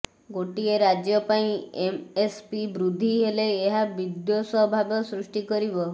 ଗୋଟିଏ ରାଜ୍ୟ ପାଇଁ ଏମ୍ଏସ୍ପି ବୃଦ୍ଧି ହେଲେ ଏହା ବିଦ୍ୱେଷ ଭାବ ସୃଷ୍ଟି କରିବ